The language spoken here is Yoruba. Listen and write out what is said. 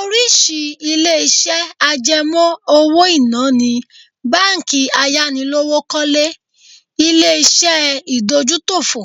Oríṣìí ilé-iṣẹ́ àjẹmọ́ owó-ìná ni:, báńkì ayánilówókọ́lé, ilé-iṣẹ́ ìdójútòfò,